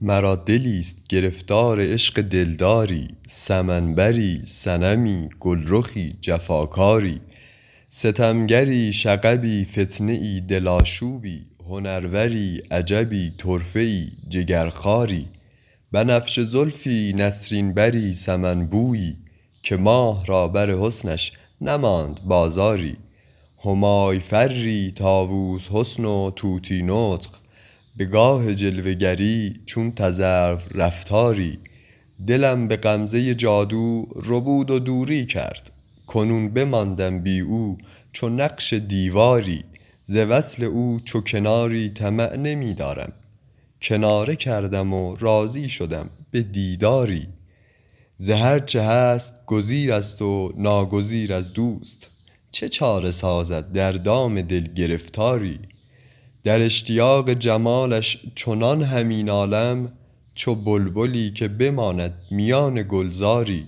مرا دلیست گرفتار عشق دلداری سمن بری صنمی گلرخی جفاکاری ستمگری شغبی فتنه ای دل آشوبی هنروری عجبی طرفه ای جگرخواری بنفشه زلفی نسرین بری سمن بویی که ماه را بر حسنش نماند بازاری همای فری طاووس حسن و طوطی نطق به گاه جلوه گری چون تذرو رفتاری دلم به غمزه جادو ربود و دوری کرد کنون بماندم بی او چو نقش دیواری ز وصل او چو کناری طمع نمی دارم کناره کردم و راضی شدم به دیداری ز هر چه هست گزیر است و ناگزیر از دوست چه چاره سازد در دام دل گرفتاری در اشتیاق جمالش چنان همی نالم چو بلبلی که بماند میان گلزاری